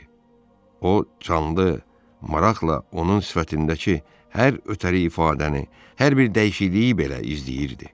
O canlı, maraqla onun sifətindəki hər ötəri ifadəni, hər bir dəyişikliyi belə izləyirdi.